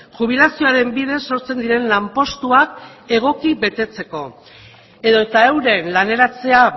jubilazioaren bidez sortzen diren lanpostuak egoki betetzeko edota euren laneratzea